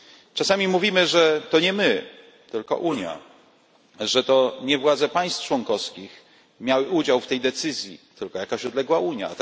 Czasami mówimy, że to nie my, tylko Unia, że to nie władze państw członkowskich miały udział w tej decyzji, tylko jakaś odległa Unia.